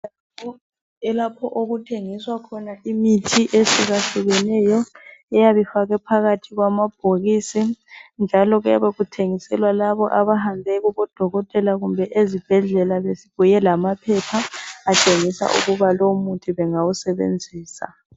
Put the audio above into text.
Lapho okuthengiswa khona imithi ehlukahlukeneyo eyabe ifakwe phakathi kwamabhokisi njalo kuyabe kuthengiselwa laba abahambe kubodokotela kumbe ezibhedlela bebuya lamaphepha atshengisa ukuba lowo muthi banguwusebenzisa.